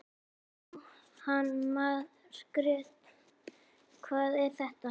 Jóhanna Margrét: Hvað er þetta?